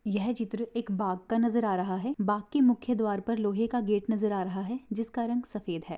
यह चित्र एक बाग का नजर आ रहा है। बाग के मुख्य द्वार पर लोहे का गेट नजर आ रहा है जिसका रंग सफेद है।